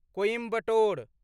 Coimbatore